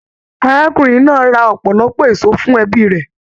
Arákùnrin náà ra ọpọlọpọ èso fún ẹbí rẹ.